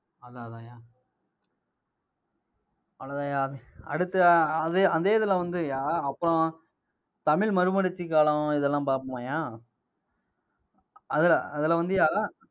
அதான், அதான்யா அவ்வளவுதாய்யா. அடுத்து, அதே அதே இதுல வந்துயா அப்புறம் தமிழ் மறுமலர்ச்சிக் காலம் இதெல்லாம் பார்ப்போமாய்யா? அதுல அதுல வந்துய்யா